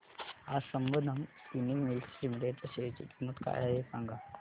आज Sambandam spinning mills limited च्या share ची किंमत काय आहे हे सांगा